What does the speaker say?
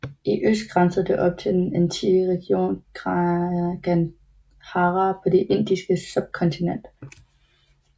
I øst grænsede det op til den antikke region Gandhara på det Indiske subkontinent